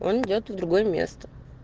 он идёт в другое место